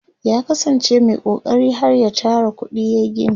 ya kasan ce Mai kokari har ya Tara kuɗi yayi gini